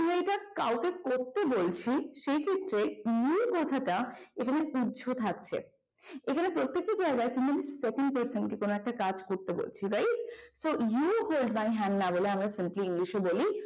কাউকে করতে বলছি সেই ক্ষেত্রে নিই কথাটা এখানে উর্ধ্ব থাকছে। এখানে প্রত্যেকটা জায়গায় যখন second person কে কোন একটা কাজ করতে বলছি right তো you hold my hand না বলে আমরা english এ বলি